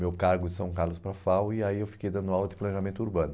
meu cargo de São Carlos para a FAU, e aí eu fiquei dando aula de planejamento urbano.